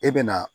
E bɛ na